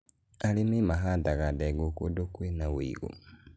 arĩmi mahandaga ndengũ kũndũ kwĩ na ũigũ